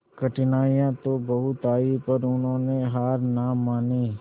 कठिनाइयां तो बहुत आई पर उन्होंने हार ना मानी